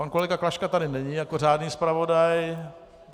Pan kolega Klaška tady není jako řádný zpravodaj.